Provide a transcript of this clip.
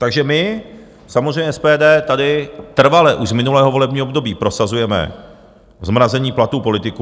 Takže my samozřejmě, SPD, tady trvale už z minulého volebního období prosazujeme zmrazení platů politiků.